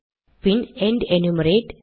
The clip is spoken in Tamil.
bin and enumerate